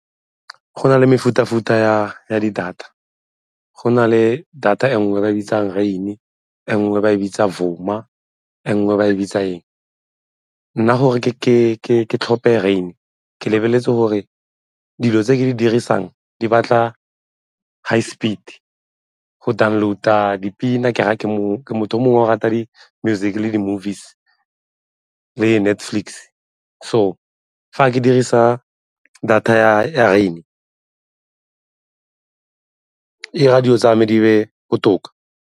Go na le mefuta-futa ya di-data. Go na le data e nngwe ba e bitsang rain-e, e nngwe ba e bitsa Vuma, e nngwe ba e bitsa eng? Nna gore ke tlhophe rain ke lebeletse gore dilo tse ke di dirisang di batla high speed go download-a dipina ke ra ke motho o mongwe wa go rata di-music le di-movies le Netflix. So, fa ke dirisa data ya rain-e e 'ira dilo tsa me di be botoka.